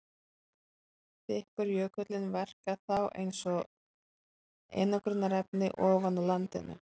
Þykkur jökullinn verkar þá eins og einangrunarefni ofan á landinu.